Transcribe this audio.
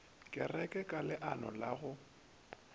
kereke ka leano la go